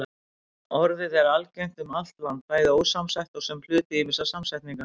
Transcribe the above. Orðið er algengt um allt land, bæði ósamsett og sem hluti ýmissa samsetninga.